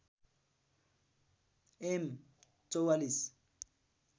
am ४४